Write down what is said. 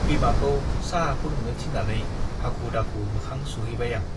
बिमाखौ चाहा फुंदुंनो थिन्नानै हाखु - दाखु मोखां सुहैबाय आं ।